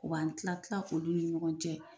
U b'an tila tila olu ni ɲɔgɔn cɛ.